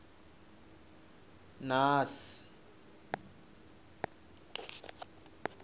naas